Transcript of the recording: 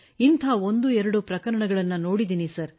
ಇಂಥ 12 ಪ್ರಕರಣಗಳನ್ನು ನೋಡಿದ್ದೇವೆ ಸರ್